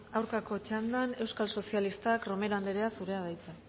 aurkako txandan euskal sozialistak romero andrea zurea da hitza